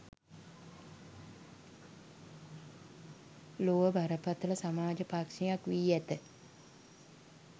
ලොව බරපතළ සමාජ ප්‍රශ්නයක් වී ඇත